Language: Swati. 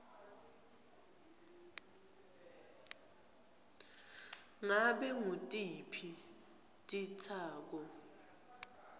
ngabe ngutiphi titsako